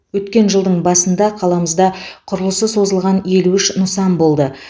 өткен жылдың басында қаламызда құрылысы созылған елу үш нысан болды